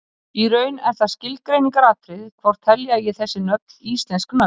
í raun er það skilgreiningaratriði hvort telja eigi þessi nöfn íslensk nöfn